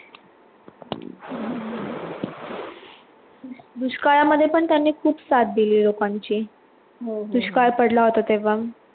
दुष्काळामध्ये पण त्यांनी खूप साथ दिली लोकांची दुष्काळ पडला होता तेव्हा